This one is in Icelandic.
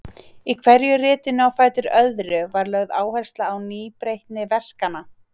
Í hverju ritinu á fætur öðru var lögð áhersla á nýbreytni verkanna.